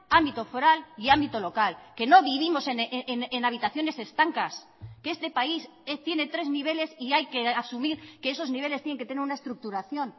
ámbito foral y ámbito local que no vivimos en habitaciones estancas que este país tiene tres niveles y hay que asumir que esos niveles tienen que tener una estructuración